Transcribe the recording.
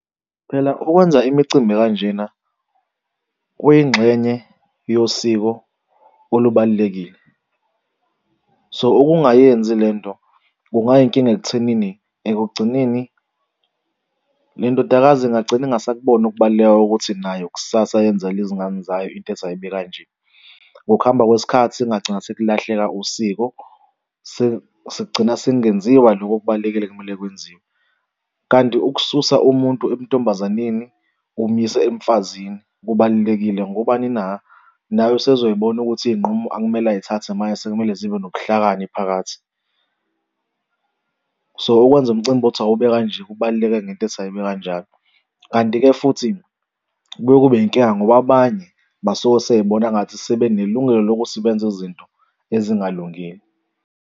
Phela ukwenza imicimbi ekanjena kwiyingxenye yosiko olubalulekile so ukungayenzi le nto kungayinkinga ekuthenini ekugcineni le ndodakazi ingagcina ingasakuboni ukubaluleka kokuthi nayo kusasa yenzele izingane zayo into ethi ayibe kanje. Ngokuhamba kwesikhathi kungagcina sekulahleka usiko sekugcina sekungenziwa loku okubalulekile okumele kwenziwe. Kanti ukususa umuntu ebuntombazanini umyise emfazini, kubalulekile ngobani na? Naye usezoy'bona ukuthi iy'nqumo ekumele ay'thathe manje sekumele zibe nobuhlakani phakathi. So, ukwenza umcimbi othi awube kanje kubaluleke ngento ethi ayibe kanjalo. Kanti-ke futhi kuye kube yinkinga ngoba abanye basuke seyibona ngathi sebenelungelo lokuthi benze izinto ezingalungile.